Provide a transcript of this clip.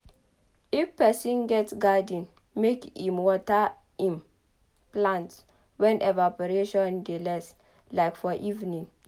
if person get garden make im water im plants when evaporation dey less. like for evening